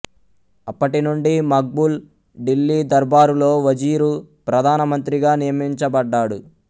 అప్పటినుండి మక్బూల్ ఢిల్లీ దర్బారులో వజీరు ప్రధాన మంత్రి గా నియమించబడ్డాడు